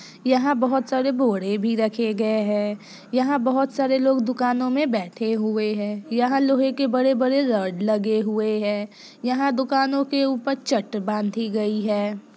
यहाँ बहोत सारे बोड़े भी रखे गए हैं। यहाँ बहोत सारे लोग दुकानों में बैठे हुए हैं। यहाँ लोहे के बड़े बड़े रॉड लगे हुए हैं। यहाँ दुकानों के ऊपर चट बांधी गई है।